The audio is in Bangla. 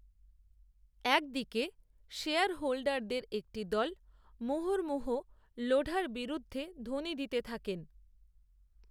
এক দিকে শেয়ারহোল্ডারদের, একটি দল, মুহুর্মুহু লোঢার বিরুদ্ধে, ধ্বনি দিতে থাকেন